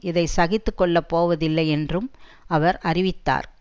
இதை சகித்து கொள்ள போவதில்லை என்றும் அவர் அறிவித்தார்